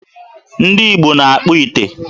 Ndị Igbo na-akpụ ite.